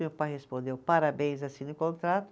Meu pai respondeu, parabéns, assine o contrato.